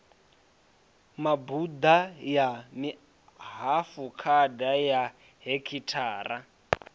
mabuḓa ya mihafukhada ya hekhithara